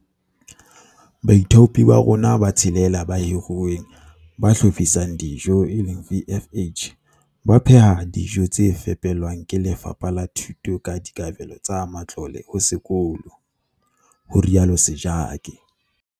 "Baithaupi ba rona ba tshelela ba hiruweng ba hlophisang dijo, VFH, ba pheha dijo tse fepelwang ke Lefapha la Thuto ka dikabelo tsa matlole ho sekolo," ho rialo Sejake.